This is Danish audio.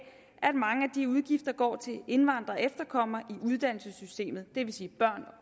at mange af de udgifter går til indvandrere og efterkommere i uddannelsessystemet det vil sige børn